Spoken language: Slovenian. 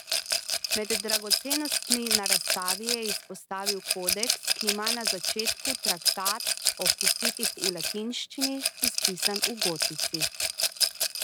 Med dragocenostmi na razstavi je izpostavil kodeks, ki ima na začetku traktat o husitih v latinščini, izpisan v gotici.